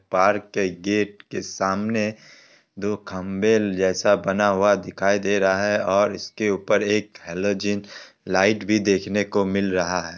Park के gate के सामने दो खंभे जैसा बना हुआ दिखाई दे रहा है और इसके उपर एक हेलोजन लाइट भी देखने को मिल रहा है।